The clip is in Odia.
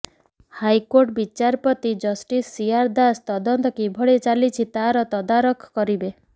ହାଇକୋର୍ଟ ବିଚାରପତି ଜଷ୍ଟିସ ସିଆର ଦାସ ତଦନ୍ତ କିଭଳି ଚାଲିଛି ତାର ତଦାରଖ କରିବେ